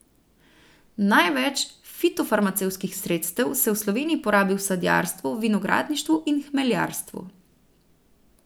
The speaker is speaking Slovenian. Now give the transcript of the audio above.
Največ fitofarmacevtskih sredstev se v Sloveniji porabi v sadjarstvu, vinogradništvu in hmeljarstvu.